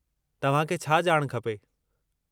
तव्हांखे छा ॼाण खपे?